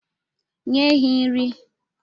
Nye ehi nri.